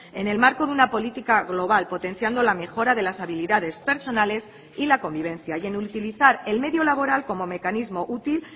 en el marco de una política global potenciando la mejora de las habilidades personales y la convivencia y en utilizar el medio laboral como mecanismo útil